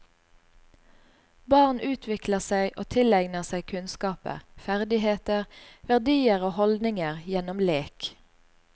Barn utvikler seg og tilegner seg kunnskaper, ferdigheter, verdier og holdninger gjennom lek.